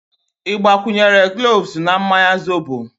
Ị gbakwunyere gloves na mmanya zobo?